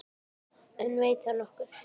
En veit það nokkur?